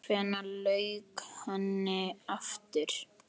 Hvenær lauk henni aftur?